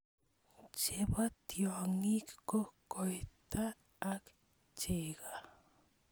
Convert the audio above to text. Chebo tyong'ik ko koito ak cheko.